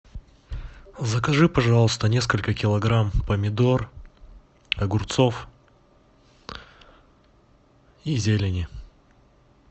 закажи пожалуйста несколько килограмм помидор огурцов и зелени